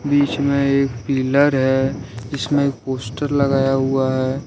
बीच में एक पिलर है इसमें पोस्टर लगाया हुआ है।